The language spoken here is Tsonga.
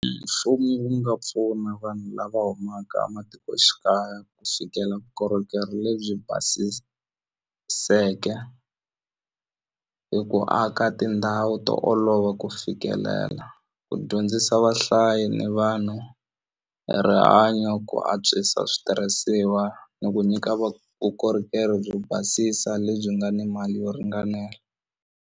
Mfumo wu nga pfuna vanhu lava humaka a matikoxikaya ku fikela vukorhokeri lebyi basiseke hi ku aka tindhawu to olova ku fikelela ku dyondzisa vahlayi ni vanhu rihanyo ku antswisa switirhisiwa ni ku nyika vukorhokeri byo basisa lebyi nga ni mali yo ringanela.